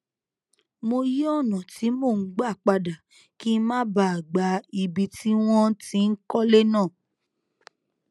mo yí ònà tí mò ń gbà padà kí n má bàa gba ibi tí wọn ti n kọlé náà